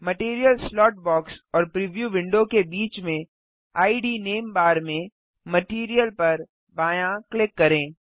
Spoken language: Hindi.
मटैरियल स्लॉट बॉक्स और प्रीव्यू विंडो के बीच में इद नेम बार में मटीरियल पर बायाँ क्लिक करें